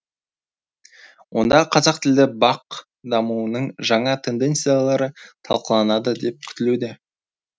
онда қазақтілді бақ дамуының жаңа тенденциялары талқылаланады деп күтілуде